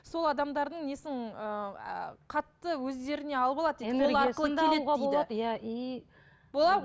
сол адамдардың несін ы қатты өздеріне алып алады